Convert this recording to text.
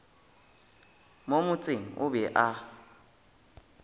mo motseng o be a